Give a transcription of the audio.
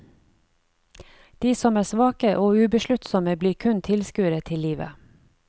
De som er svake og ubesluttsomme blir kun tilskuere til livet.